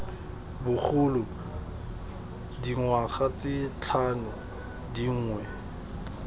bogolo dingwaga tse tlhano dingwe